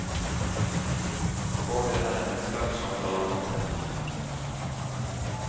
For det er en ekspert som taler.